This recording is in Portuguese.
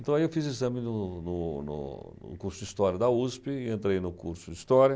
Então, aí eu fiz exame no no no no curso de História da USP e entrei no curso de História.